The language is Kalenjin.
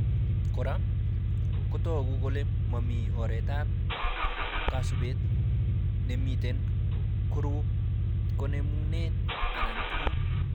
Kora , kotoku kole mami oretab kasubet nemiten korub konemunet anan tuguk